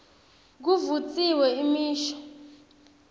kuvutsiwe imisho